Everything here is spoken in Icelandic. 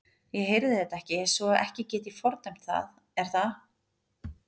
Ég heyrði þetta ekki svo ekki get ég fordæmt það er það?